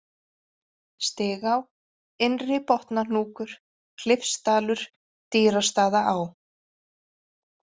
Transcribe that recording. Stigá, Innri-Botnahnúkur, Klifsdalur, Dýrastaðaá